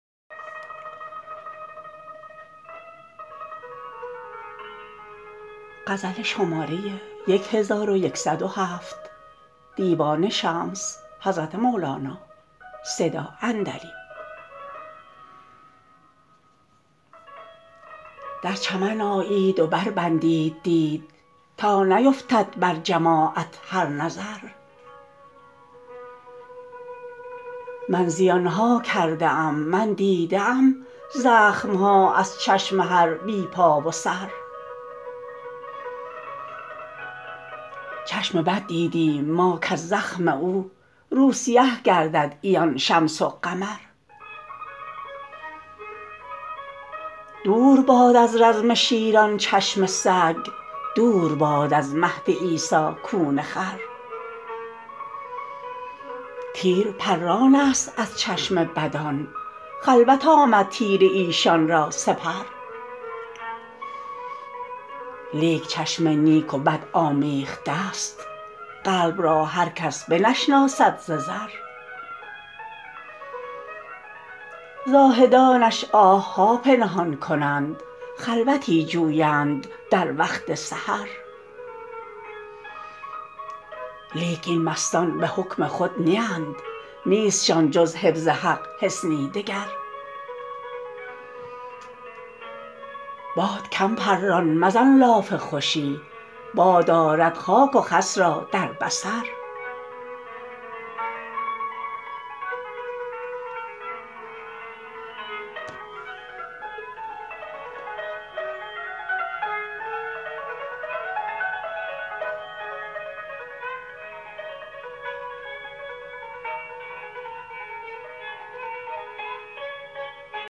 در چمن آیید و بربندید دید تا نیفتد بر جماعت هر نظر من زیان ها کرده ام من دیده ام زخم ها از چشم هر بی پا و سر چشم بد دیدیم ما کز زخم او روسیه گردد عیان شمس و قمر دور باد از رزم شیران چشم سگ دور باد از مهد عیسی کون خر تیر پرانست از چشم بدان خلوت آمد تیر ایشان را سپر لیک چشم نیک و بد آمیخته ست قلب را هر کس بنشناسد ز زر زاهدانش آه ها پنهان کنند خلوتی جویند در وقت سحر لیک این مستان به حکم خود نیند نیستشان جز حفظ حق حصنی دگر باد کم پران مزن لاف خوشی باد آرد خاک و خس را در بصر